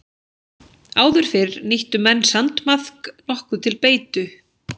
Áður fyrr nýttu menn sandmaðk nokkuð til beitu.